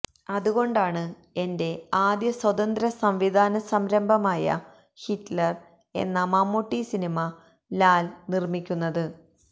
അത് കൊണ്ടാണ് എന്റെ ആദ്യ സ്വതന്ത്ര സംവിധാന സംരംഭമായ ഹിറ്റ്ലർ എന്ന മമ്മൂട്ടി സിനിമ ലാൽ നിർമ്മിക്കുന്നത്